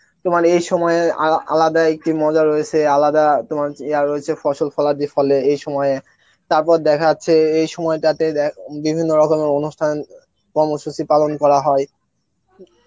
তোমার এই সময় আ~ আলাদাই কি মজা রয়েছে আলাদা তোমার যে আ রয়েছে ফসল ফলার ফলে এই সময়, তারপর দেখা যাচ্ছে এই সময়টা তে দে~ বিভিন্ন রকমের অনুষ্ঠান, কর্মসূচি পালন করা হয়